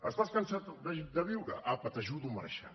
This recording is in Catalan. estàs cansat de viure apa t’ajudo a marxar